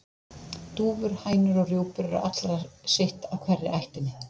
Dúfur, hænur og rjúpur eru allar sitt af hverri ættinni.